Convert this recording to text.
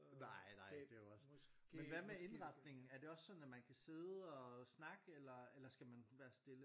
Nej nej det er jo også men hvad med indretningen er det også at man kan sidde og snakke eller eller skal man være stille?